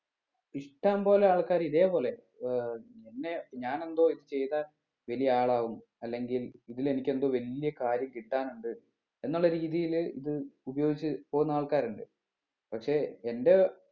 ഇഷ്ട്ടംപോലെ ആൾക്കാര് ഇതേപോലെ ഏർ നിന്നെ ഞാന് എന്തോ ചെയ്താൽ വലിയ ആളാവും അല്ലെങ്കിൽ ഇതിൽ എനിക്ക് എന്തോ വലിയ കാര്യം കിട്ടാനുണ്ട് എന്നുള്ള രീതിയില് ഇത് ഉപയോഗിച്ച് പോണ ആൾക്കാരിണ്ട് പക്ഷെ എൻ്റെ